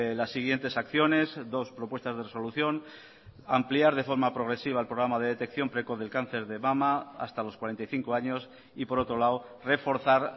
las siguientes acciones dos propuestas de resolución ampliar de forma progresiva el programa de detección precoz del cáncer de mama hasta los cuarenta y cinco años y por otro lado reforzar